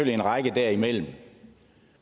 en række derimellem